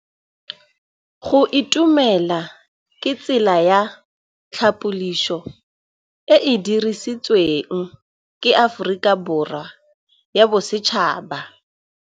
Go itumela ke tsela ya tlhapolisô e e dirisitsweng ke Aforika Borwa ya Bosetšhaba.